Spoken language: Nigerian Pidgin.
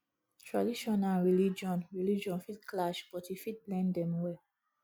tradition and religion religion fit clash but you fit blend dem well